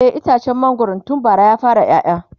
e itacen mangwaron tun bara ya fara ƴaƴa